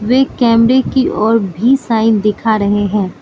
वे कैमरे की और भी साइन दिखा रहे हैं।